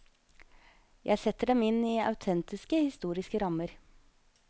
Jeg setter dem inn i autentiske historiske rammer.